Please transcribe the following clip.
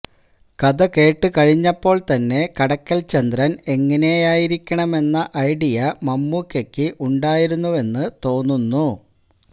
കഥ കേട്ട് കഴിഞ്ഞപ്പോൾ തന്നെ കടക്കൽ ചന്ദ്രൻ എങ്ങനെയായിരിക്കണമെന്ന ഐഡിയ മമ്മൂക്കയ്ക്ക് ഉണ്ടായിരുന്നുവെന്ന് തോന്നുന്നു